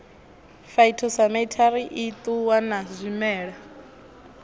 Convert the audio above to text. phytosamitary i ṱuwa na zwimela